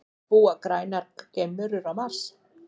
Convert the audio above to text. Búa grænar geimverur á Mars?